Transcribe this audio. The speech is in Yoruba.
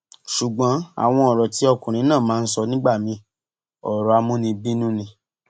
ṣùgbọn àwọn ọrọ tí ọkùnrin náà máa ń sọ nígbà míin ọrọ amúnibínú ni